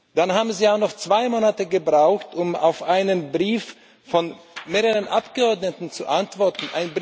Dann haben Sie auch noch zwei Monate gebraucht, um auf einen Brief von mehreren Abgeordneten zu antworten.